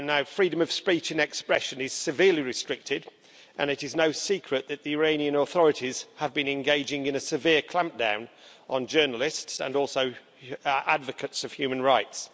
Freedom of speech and expression is severely restricted, and it is no secret that the Iranian authorities have been engaging in a severe clampdown on journalists and advocates of human rights.